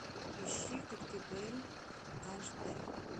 ищи коктебель аш д